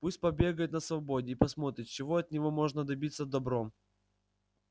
пусть побегает на свободе и посмотрим чего от него можно добиться добром